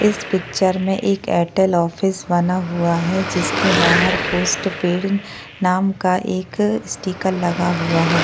इस पिक्चर में एक एयरटेल ऑफिस बना हुआ है जिसके बहार पोस्ट पेड़ नाम का एक स्टीकर लगा हुआ है।